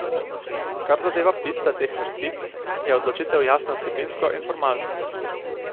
Kar zadeva pisca teh vrstic, je odločitev jasna vsebinsko in formalno.